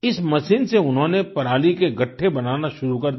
इस मशीन से उन्होंने पराली के गठठे बनाने शुरू कर दिया